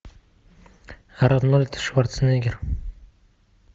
арнольд шварценеггер